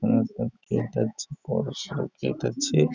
মনে হচ্ছে কোনো গেট আছে বড়সড়ো গেট আছে ।